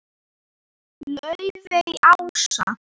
Laufey Ása.